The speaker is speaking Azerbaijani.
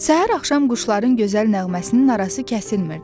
Səhər-axşam quşların gözəl nəğməsinin arası kəsilmirdi.